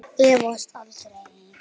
Efast aldrei.